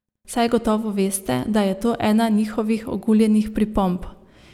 Saj gotovo veste, da je to ena njihovih oguljenih pripomb.